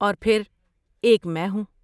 اور پھر ایک میں ہوں!